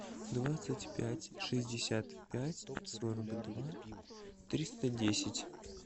двадцать пять шестьдесят пять сорок два триста десять